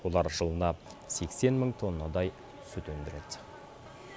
олар жылына сексен мың тоннадай сүт өндіреді